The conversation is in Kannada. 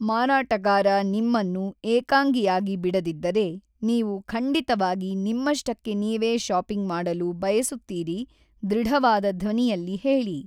ಮಾರಾಟಗಾರ ನಿಮ್ಮನ್ನು ಏಕಾಂಗಿಯಾಗಿ ಬಿಡದಿದ್ದರೆ, ನೀವು ಖಂಡಿತವಾಗಿ ನಿಮ್ಮಷ್ಟಕ್ಕೆ ನೀವೇ ಶಾಪಿಂಗ್ ಮಾಡಲು ಬಯಸುತ್ತೀರಿ ಧೃಡವಾದ ಧ್ವನಿಯಲ್ಲಿ ಹೇಳಿ.